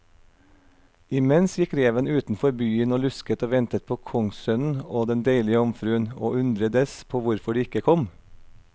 Imens gikk reven utenfor byen og lusket og ventet på kongssønnen og den deilige jomfruen, og undredes på hvorfor de ikke kom.